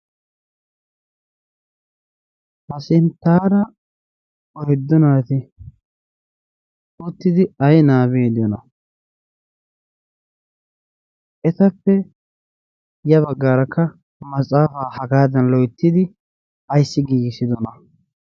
hasinttara oydu naati uttidi ai nabbabiidi de7ayona etappe ya baggaarakka maxaafaa hagaadan loittidi aissi giigissidona